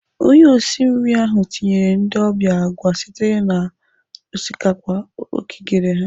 Onye osi nri ahụ tinyere ndị ọbịa agwa esitere n'osikapa o kigere ha.